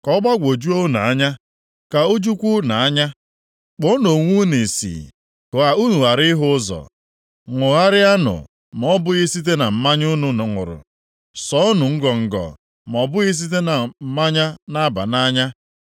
Ka ọ gbagwojuo unu anya. Ka o jukwa unu anya. Kpuonụ onwe unu ìsì ka unu ghara ịhụ ụzọ. Ṅagharịanụ ma ọ bụghị site na mmanya unu ṅụrụ, sọọnụ ngọngọ ma ọ bụghị site na mmanya na-aba nʼanya.